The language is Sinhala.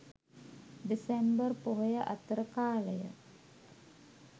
දෙසැම්බර් පොහොය අතර කාලය.